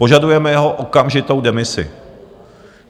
Požadujeme jeho okamžitou demisi.